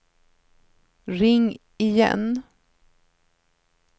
ring igen